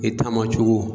I ta ma cogo